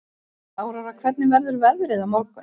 Áróra, hvernig verður veðrið á morgun?